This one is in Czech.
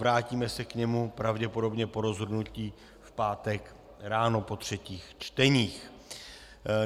Vrátíme se k němu pravděpodobně po rozhodnutí v pátek ráno po třetích čtení.